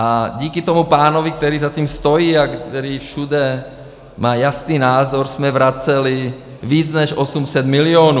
A díky tomu pánovi, který za tím stojí a který všude má jasný názor, jsme vraceli víc než 800 milionů